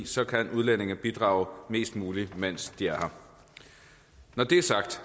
så kan udlændinge bidrage mest muligt mens de er her når det er sagt